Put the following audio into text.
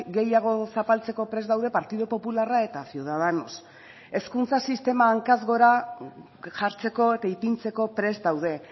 gehiago zapaltzeko prest daude partidu popularra eta ciudadanos hezkuntza sistema hankaz gora jartzeko eta ipintzeko prest daude